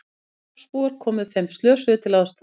Þorpsbúar komu þeim slösuðust til aðstoðar